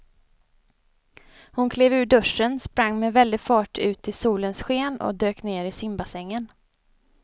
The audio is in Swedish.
Hon klev ur duschen, sprang med väldig fart ut i solens sken och dök ner i simbassängen.